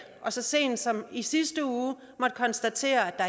og så sent som i sidste uge måtte konstatere at